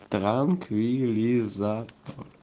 транквилизатор